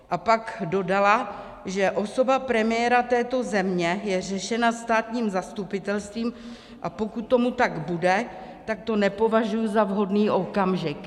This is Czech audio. - A pak dodala, že - osoba premiéra této země je řešena státním zastupitelstvím, a pokud tomu tak bude, tak to nepovažuji za vhodný okamžik.